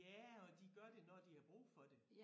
Ja og de gør det når de har brug for det